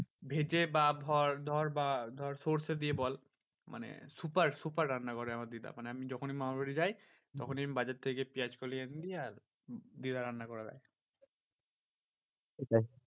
ভেজে বা ধর ধর বা ধর সর্ষে দিয়ে বল মানে super super রান্না করে আমার দিদা। মানে আমি যখনই মামার বাড়ি যাই তখনই আমি বাজার থেকে গিয়ে পিঁয়াজ কলি এনে দি আর দিদা রান্না করে দেয়।